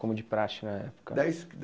Como de praxe na época? dez